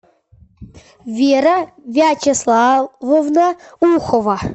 вера вячеславовна ухова